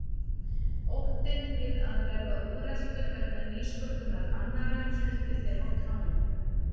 Óttinn við að verða úreltur vegna nýsköpunar annarra héldi þeim á tánum.